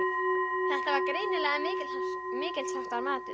Þetta var greinilega mikilsháttar maður.